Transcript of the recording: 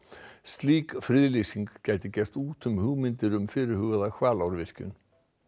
slík friðlýsing gæti gert út um hugmyndir um fyrirhugaða Hvalárvirkjun